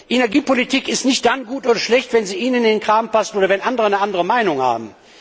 Energiepolitik ist nicht dann gut oder schlecht, wenn sie Ihnen in den Kram passt oder wenn andere eine andere Meinung haben.